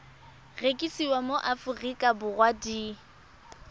rekisiwa mo aforika borwa di